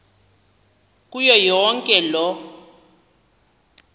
kuyo yonke loo